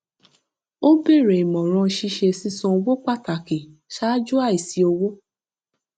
ó béèrè ìmọràn ṣíṣe sísan owó pàtàkì ṣáájú àìsí owó